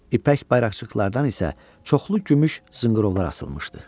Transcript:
İpək bayraqcıqlardan isə çoxlu gümüş zınqırovlar asılmışdı.